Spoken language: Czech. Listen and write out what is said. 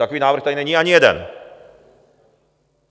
Takový návrh tady není ani jeden.